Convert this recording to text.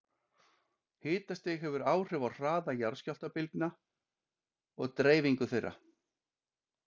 Hitastig hefur áhrif á hraða jarðskjálftabylgna og deyfingu þeirra.